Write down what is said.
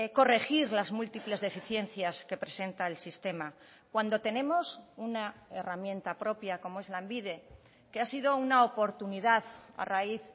corregir las múltiples deficiencias que presenta el sistema cuando tenemos una herramienta propia como es lanbide que ha sido una oportunidad a raíz